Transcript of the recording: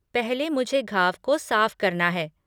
पहले, मुझे घाव को साफ़ करना है।